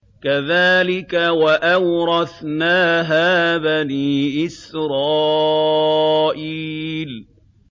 كَذَٰلِكَ وَأَوْرَثْنَاهَا بَنِي إِسْرَائِيلَ